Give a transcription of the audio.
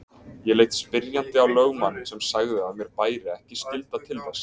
Ég leit spyrjandi á lögmanninn sem sagði að mér bæri ekki skylda til þess.